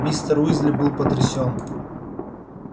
мистер уизли был потрясён